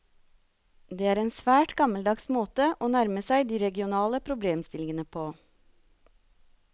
Det er en svært gammeldags måte å nærme seg de regionale problemstillingene på.